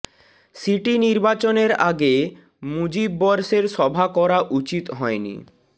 city নির্বাচনের আগে মুজিব বর্ষের সভা করা উচিত হয়নি